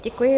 Děkuji.